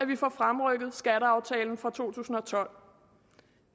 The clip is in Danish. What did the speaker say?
vi får fremrykket skatteaftalen fra to tusind og tolv